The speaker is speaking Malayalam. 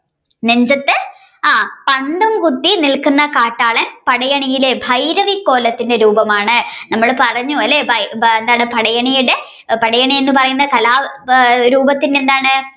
നെഞ്ചത് പന്തം കുത്തി നിൽക്കുന്ന കാട്ടാളൻ പടയണിയിലെ ഭൈരവിക്കോലത്തിന്റെ രൂപമാണ് നമ്മൾ പറഞ്ഞു അല്ലെ എന്താണ് പടയണിയുടെ പടയണി എന്ന് പറയുന്ന കലാരൂപത്തിന്റെ എന്താണ്